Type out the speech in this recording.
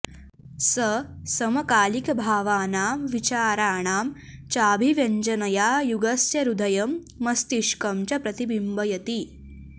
स समकालिकभावानां विचाराणां चाभिव्यञ्जनया युगस्य हृदयं मस्तिष्कं च प्रतिबिम्बयति